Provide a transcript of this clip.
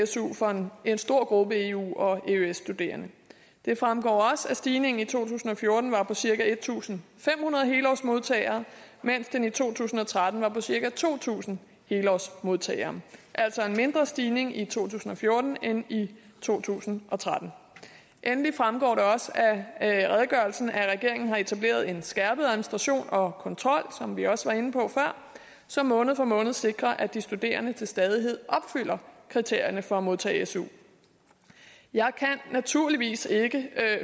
su for en stor gruppe eu og eøs studerende det fremgår også at stigningen i to tusind og fjorten var på cirka en tusind fem hundrede helårsmodtagere mens den i to tusind og tretten var på cirka to tusind helårsmodtagere altså en mindre stigning i to tusind og fjorten end i to tusind og tretten endelig fremgår det også af redegørelsen at regeringen har etableret en skærpet administration og kontrol som vi også var inde på før som måned for måned sikrer at de studerende til stadighed opfylder kriterierne for at modtage su jeg kan naturligvis ikke